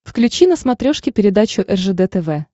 включи на смотрешке передачу ржд тв